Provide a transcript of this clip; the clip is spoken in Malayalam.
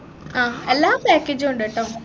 ആഹ് എല്ലാ package ഉ ഉണ്ടെട്ടോ